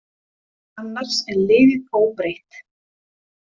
Annars er liðið óbreytt.